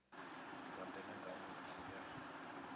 dza ndeme ngauri dzi ea